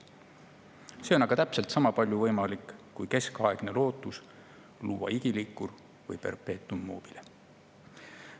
See on aga täpselt sama palju võimalik kui keskaegne lootus luua igiliikur ehk perpetuum mobile.